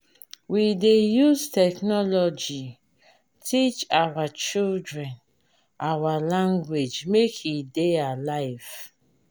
we dey use technology teach our children our language make e dey alive.